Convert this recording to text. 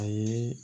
A ye